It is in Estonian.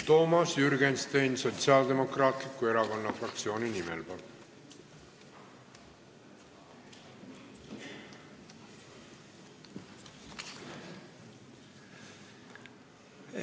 Toomas Jürgenstein Sotsiaaldemokraatliku Erakonna fraktsiooni nimel, palun!